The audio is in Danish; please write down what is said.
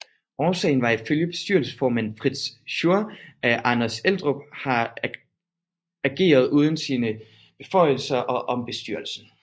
Årsagen var ifølge bestyrelsesformand Fritz Schur at Anders Eldrup har ageret uden om sine beføjelser og om bestyrelsen